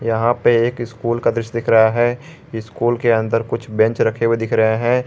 यहां पे एक स्कूल का दृश्य दिख रहा है स्कूल के अंदर कुछ बेंच रखे हुए दिख रहे हैं।